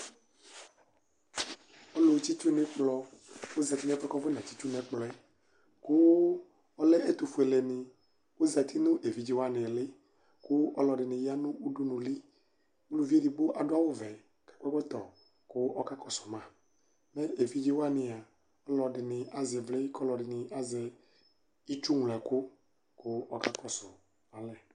ɔlʋ tsitsu nʋ ɛkplɔ ɔzati nʋ ɛƒʋ kʋ aƒɔna tsitʋ nʋ ɛkplɔɛ kʋ ɔlɛ ɛtʋ ƒʋɛlɛ ni, ɔzati nʋ ɛvidzɛ wani ili kʋ alʋɛdini yanʋ ʋdʋnʋ ili, ʋlʋvi ɛdigbɔ adʋ awʋ vɛ kʋ ɔkakɔsʋ ma, ɛvidzɛ wania ɔlɔdini azɛ ivli kʋ ɔlʋɛdini azɛ itsʋ mlɔ ɛkʋ kʋ akakɔsʋ alɛ